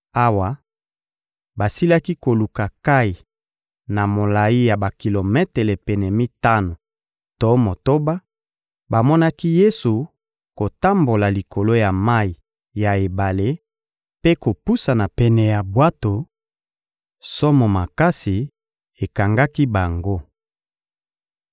Awa basilaki koluka nkayi na molayi ya bakilometele pene mitano to motoba, bamonaki Yesu kotambola likolo ya mayi ya ebale mpe kopusana pene ya bwato; somo makasi ekangaki bango.